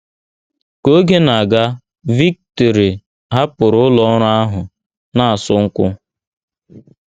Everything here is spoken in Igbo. Ka oge na - aga, Victoire hapụrụ ụlọ ọrụ ahụ na - asụ nkwụ.